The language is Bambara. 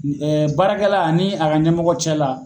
Baarakɛla ani a ka ɲɛmɔgɔ cɛla.